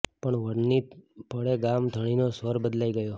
પણ વળતી પળે ગામ ધણીનો સ્વર બદલાઈ ગયો